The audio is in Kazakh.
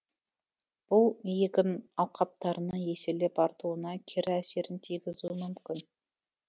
бұл егін алқаптарының еселеп артуына кері әсерін тигізуі мүмкін